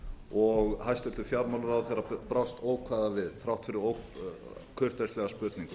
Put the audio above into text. og hæstvirtur fjármálaráðherra brást ókvæða við þrátt fyrir kurteislega spurningu